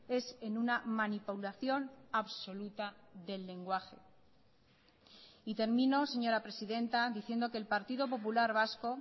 es en una manipulación absoluta del lenguaje y termino señora presidenta diciendo que el partido popular vasco